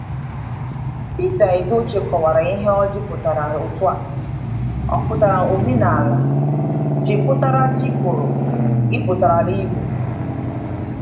Pita Edochie kọwara ihe ỌJỊ pụtara otu a: Ọ putara Omenala, J pụtara Jikọrọ, I pụtara Igbo.